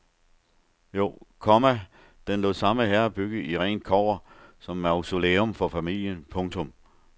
Jo, komma den lod samme herre bygge i rent kobber som mausolæum for familien. punktum